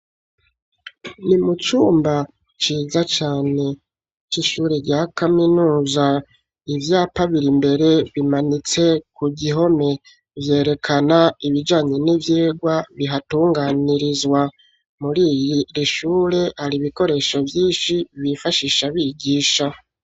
Ni mucumba ciza cane c'ishure rya kaminuza ivyapa biri mbere bimanitse ku gihome vyerekana ibijanye n'ivyegwa bihatunganirizwa muri iyi rishure ari ibikoresho vyinshi bifashisha bigisha.